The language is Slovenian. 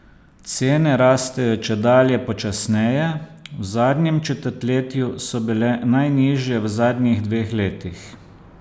Cene rastejo čedalje počasneje, v zadnjem četrtletju so bile najnižje v zadnjih dveh letih.